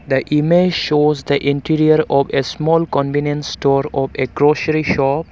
the image shows the interior of a small convenience store of a grocery shop